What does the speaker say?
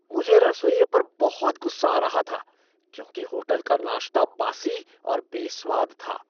मुझे रसोइये पर बहुत गुस्सा आ रहा था क्योंकि होटल का नाश्ता बासी और बेस्वाद था।